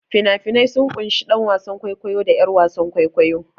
Fina-finai sun ƙunshi ɗan wasan kwaikwayo da 'yar wasan kwaikwayo.